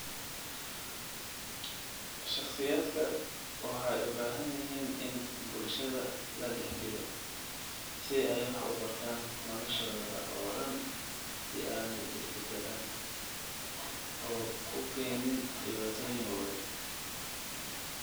Shakhsiyaadka waxa ay u baahan yihiin in bulshada la dhex dhigo si ay wax u bartaan noloshooda oo dhan si aanay isbeddelladan oo kale u keenin dhibaatooyin waaweyn.